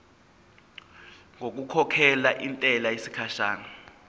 ngokukhokhela intela yesikhashana